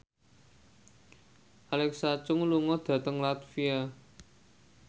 Alexa Chung lunga dhateng latvia